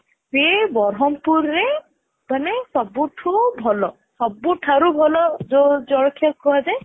ସେ ବ୍ରହ୍ମପୁରରେ ମାନେ ସବୁଠୁ ଭଲ ସବୁ ଠାରୁ ଭଲ ଯୋଉ ଜଳଖିଆ କୁହ ଯାଏ